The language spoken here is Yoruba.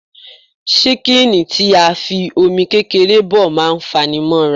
ṣíkìnì tí a fi Omi kékeré bọ̀ má ń fanimóra